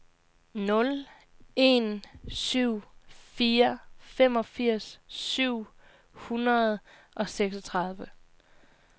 nul en syv fire femogfirs syv hundrede og seksogtredive